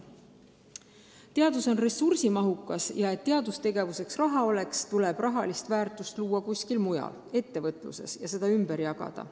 Teadus on ressursimahukas ja et teadustegevuseks raha oleks, tuleb rahalist väärtust luua kuskil mujal – ettevõtluses – ja seda raha ümber jagada.